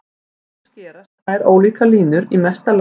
Hér skerast tvær ólíkar línur í mesta lagi í einum punkti.